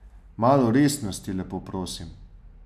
Malo resnosti, lepo prosim.